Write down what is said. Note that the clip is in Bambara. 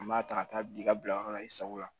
An b'a ta ka taa bi i ka bilayɔrɔ la i sago la